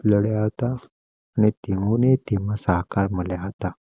લડ્યા થા નેતાઓ ની ટીમ સહકાર મળ્યા હતા.